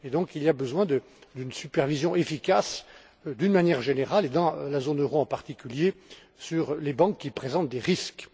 Il est donc besoin d'une supervision efficace, d'une manière générale, et dans la zone euro en particulier, des banques qui présentent des risques.